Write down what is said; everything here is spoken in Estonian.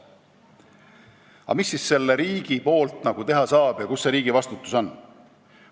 Aga mida siis riik teha saab ja kus see riigi vastutus on?